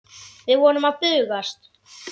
Við vorum að bugast.